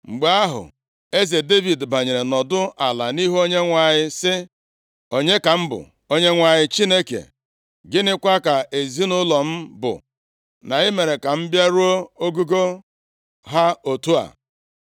Mgbe ahụ, eze Devid banyere nọdụ ala nʼihu Onyenwe anyị, sị: “Onye ka m bụ, Onyenwe anyị Chineke, gịnịkwa ka ezinaụlọ m bụ, na ị mere ka m bịaruo nʼogogo ha otu a?